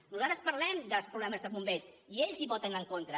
nosaltres parlem dels problemes dels bombers i ells hi voten en contra